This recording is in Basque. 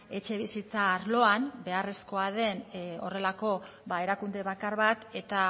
etxebizitza arloan beharrezkoa den horrelako ba erakunde bakar bat eta